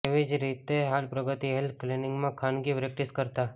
એવી જ રીતે હાલ પ્રગતિ હેલ્થ ક્લીનીંગમાં ખાનગી પ્રેક્ટીસ કરતાં